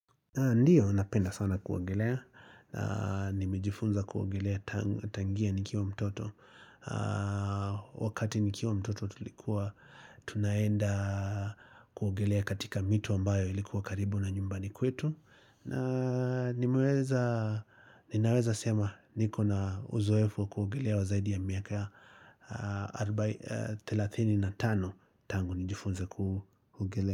Ndiyo napenda sana kuogelea, nimejifunza kuogelea tangia nikiwa mtoto, wakati nikiwa mtoto tulikuwa tunaenda kuogelea katika mito ambayo ilikuwa karibu na nyumbani kwetu, na nimeweza ninaweza sema niko na uzoefu wa kuogelea wa zaidi ya miaka arobaini, 35 tangu nijifunze kuogelea.